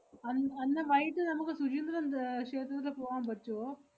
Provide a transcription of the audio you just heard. അൻ~ അന്ന് വൈകിട്ട് നമ്മക്ക് ശുചീന്ദ്രം ഏർ ക്ഷേത്രത്തി പോവാമ്പറ്റുവോ?